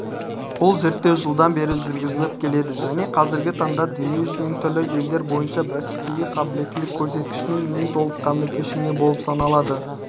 бұл зерттеу жылдан бері жүргізіліп келеді және қазіргі таңда дүниежүзінің түрлі елдер бойынша бәсекеге қабілеттілік көрсеткішінің ең толыққанды кешені болып саналады